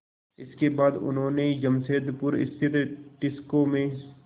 इसके बाद उन्होंने जमशेदपुर स्थित टिस्को में